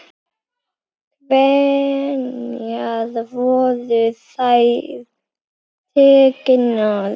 Hvenær voru þær teknar?